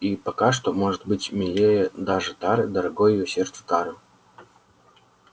и пока что быть может милее даже тары дорогой её сердцу тары